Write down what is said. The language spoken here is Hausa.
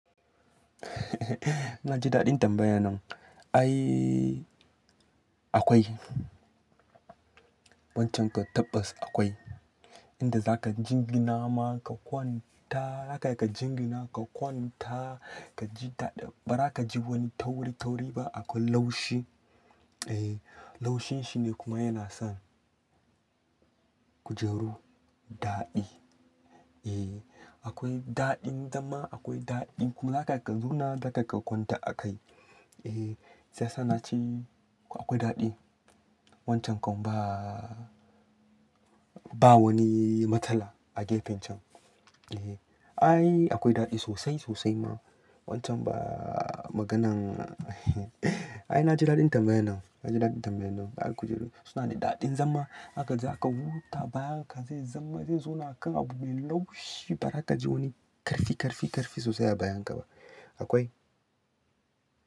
Na ji daɗin tambayan nan. Ai akwai. Wancan ka tabbas akwai. Inda zaka jingina ma ka kwanta, haka ka jingina ka kwanta, ka ji daɗi. Ba za ka ji wani tauri tauri ba. Akwai laushi. Eh, laushin shi ne kuma yana sa kujeru daɗi. Eh, akwai daɗin zama akwai daɗi. Kuma zaka iya ka zauna haka ka kwanta a kai. Eh, sai ya naci. Akwai daɗi. Wancan kam ba, ba wani matsala a gefen can. Eh. Ai akwai daɗi sosai sosai ma. Wancan ba maganan. Ai na ji daɗin tambayan nan. Na ji daɗin tambayan nan. Ba'a kujeru suna da daɗin zama. Haka zaka huta bayan ka zai zama zai zauna akan abu mai laushi. Ba za ka ji wani ƙarfi ƙarfi ƙarfi sosai a bayan ka ba. Akwai.